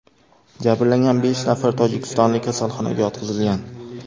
Jabrlangan besh nafar tojikistonlik kasalxonaga yotqizilgan.